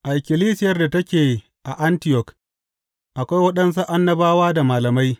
A ikkilisiyar da take a Antiyok akwai waɗansu annabawa da malamai.